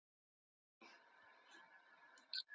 Jói minn.